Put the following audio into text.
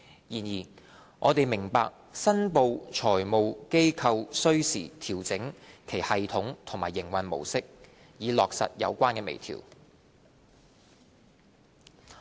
然而，我們明白申報財務機構需時調整其系統及營運模式，以落實有關微調。